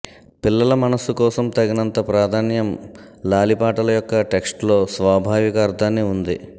పిల్లల మనస్సు కోసం తగినంత ప్రాధాన్యం లాలిపాటలు యొక్క టెక్స్ట్ లో స్వాభావిక అర్థాన్ని ఉంది